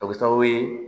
O bɛ kɛ sababu ye